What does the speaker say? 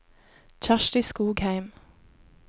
Kjersti Skogheim